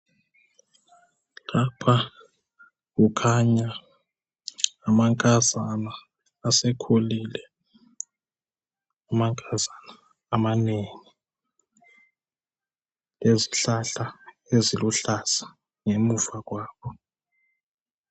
Lapha kukhanya amankazana asekhulile. Amankazana amanengi lezihlahla eziluhlaza ngemuva kwabo.